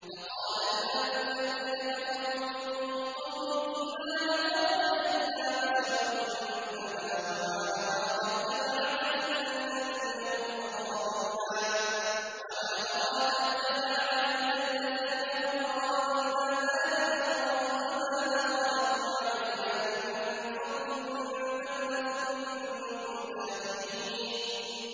فَقَالَ الْمَلَأُ الَّذِينَ كَفَرُوا مِن قَوْمِهِ مَا نَرَاكَ إِلَّا بَشَرًا مِّثْلَنَا وَمَا نَرَاكَ اتَّبَعَكَ إِلَّا الَّذِينَ هُمْ أَرَاذِلُنَا بَادِيَ الرَّأْيِ وَمَا نَرَىٰ لَكُمْ عَلَيْنَا مِن فَضْلٍ بَلْ نَظُنُّكُمْ كَاذِبِينَ